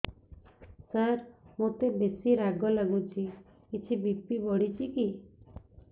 ସାର ମୋତେ ବେସି ରାଗ ଲାଗୁଚି କିଛି ବି.ପି ବଢ଼ିଚି କି